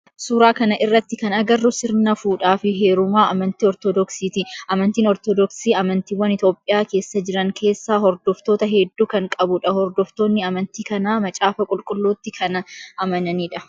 Suuraa kana irratti kan agarru sirna fuudhaa fi heerumaa amantii ortodoksiiti. Amantiin ortodoksii amantiiwwan Itiyoophiyaa keessa jiran keessaa hordoftoota heddu kan qabudha. Hordoftoonni amanti kanaa macaafa qulqulluutti kana amananii dha.